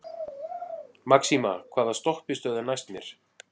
Maxima, hvaða stoppistöð er næst mér?